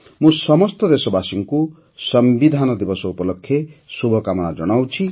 ମୁଁ ସମସ୍ତ ଦେଶବାସୀଙ୍କୁ ସମ୍ବିଧାନ ଦିବସ ଉପଲକ୍ଷେ ଶୁଭକାମନା ଜଣାଉଛି